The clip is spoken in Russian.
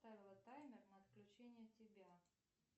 поставила таймер на отключение тебя